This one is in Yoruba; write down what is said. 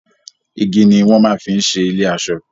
Igi ni wọ́n máa ń fi ṣe ilé-aṣọ.